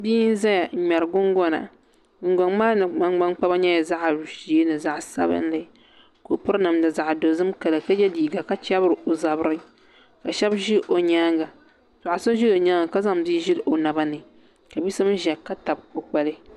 Bia n ʒɛya n ŋmɛri gungona gungoŋ maa mii nangbani koba nyɛla zaɣ ʒiɛ ni zaɣ sabinli ka o piri namda zaɣ dozim kala ka yɛ liiga ka chɛbiri o zabiri ka shab ʒi o nyaanga paɣa so ʒi o nyaanga ka zaŋ bia ʒili o naba ni ka bia so mii ƶiyq ka tabi o kpali